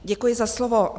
Děkuji za slovo.